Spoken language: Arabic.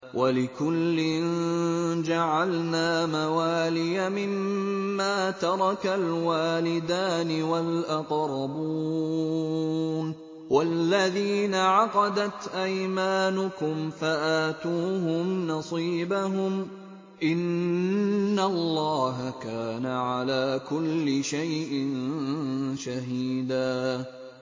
وَلِكُلٍّ جَعَلْنَا مَوَالِيَ مِمَّا تَرَكَ الْوَالِدَانِ وَالْأَقْرَبُونَ ۚ وَالَّذِينَ عَقَدَتْ أَيْمَانُكُمْ فَآتُوهُمْ نَصِيبَهُمْ ۚ إِنَّ اللَّهَ كَانَ عَلَىٰ كُلِّ شَيْءٍ شَهِيدًا